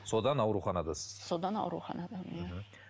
содан ауруханадасыз содан ауруханадамын иә